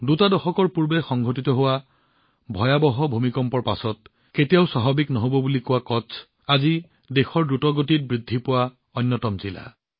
দুটা দশকৰ পূৰ্বে সংঘটিত হোৱা ভয়াৱহ ভূমিকম্পৰ পিছত কেতিয়াও ঠন ধৰি নুঠিব বুলি কোৱা কচ্চ আজি একেখন জিলাই দেশৰ অন্যতম দ্ৰুতগতিত বৃদ্ধি পোৱা জিলা